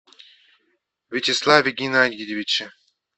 вячеславе геннадьевиче